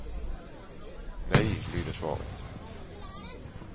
Nej, lyder svaret.